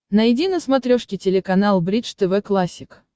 найди на смотрешке телеканал бридж тв классик